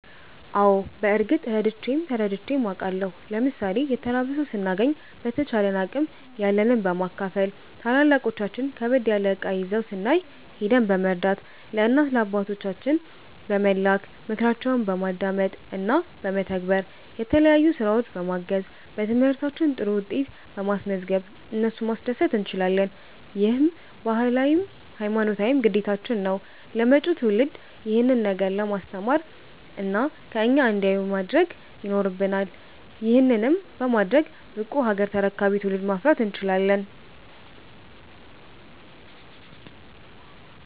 አዎ በርግጥ ረድቼም ተረድቼም አቃለሁ። ለምሣሌ የተራበ ሠው ስናገኝ በተቻለን አቅም ያለንን በማካፈል፣ ታላላቆቻችን ከበድ ያለ እቃ ይዘው ስናይ ሂደን በመርዳት፣ ለእናት ለአባቶቻችን በመላክ፣ ምክራቸውን በማዳመጥ እና በመተግበር፣ የተለያዩ ስራዎች በማገዝ፣ በትምህርታችን ጥሩ ውጤት በማስዝገብ እነሱን ማስደሰት እንችላለን። ይህም ባህላዊም ሀይማኖታዊም ግዴታችን ነው። ለመጪው ትውልድ ይሄንን ነገር በማስተማር እና ከኛ እንዲያዩ ማድረግ ይኖረብናል። ይህንንም በማድረግ ብቁ ሀገር ተረካቢ ትውልድን ማፍራት እንችላለን።